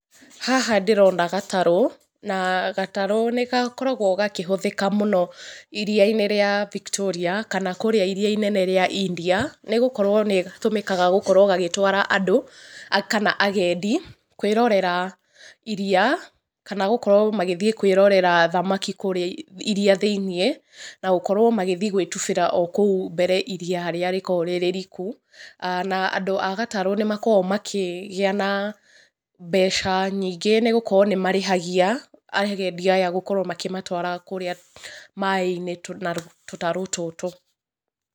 Haha ndĩrona gatarũ, na gatarũ nĩgakoragwo gakĩhũthĩka mũno iria-inĩ ria Victoria kana kũrĩa iria inene rĩa India. Nĩgũkorwo nĩgatũmĩkaga gũgĩtwara andũ, kana agendi kwĩrorera iria, kana gũkorwo magĩthiĩ kwĩrorera thamaki kũrĩa iria thĩiniĩ, na gũkorwo magĩthiĩ gwĩtubĩra o kũu mbere kũrĩa iria rĩkoragwo rĩrĩ iriku. Na andũ a gatarũ nĩmakoragwo makĩgĩa na mbeca nyingĩ, nĩgũkorwo nĩmarĩhagia agendi aya gũkorwo makĩmatwara kũrĩa maaĩ-inĩ, na tũtarũ tũtũ.